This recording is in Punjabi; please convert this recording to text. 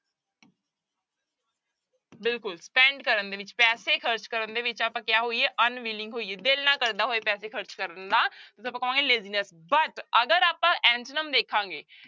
ਬਿਲਕੁਲ spend ਕਰਨ ਦੇ ਵਿੱਚ ਪੈਸੇ ਖ਼ਰਚ ਕਰਨ ਦੇ ਵਿੱਚ ਆਪਾਂ ਕਿਆ ਹੋਈਏ unwilling ਹੋਈਏ ਦਿਲ ਨਾ ਕਰਦਾ ਹੋਏ ਪੈਸੇ ਖ਼ਰਚ ਕਰਨ ਨੂੰ ਨਾ, ਤੇ ਆਪਾਂ ਕਵਾਂਗੇ laziness but ਅਗਰ ਆਪਾਂ antonym ਦੇਖਾਂਗੇ।